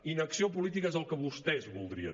inacció política és el que vostès voldrien